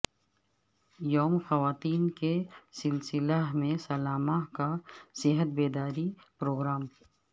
یوم خواتین کے سلسلہ میں سلامہ کا صحت بیداری پروگرام